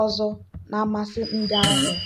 ọzọ na mmasị ndị ahịa.